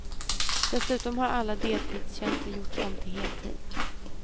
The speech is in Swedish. Dessutom har alla deltidstjänster gjorts om till heltid.